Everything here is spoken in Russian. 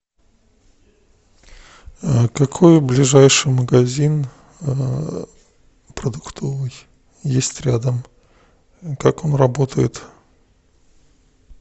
какой ближайший магазин продуктовый есть рядом как он работает